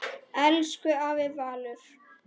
Elsku afi Valur.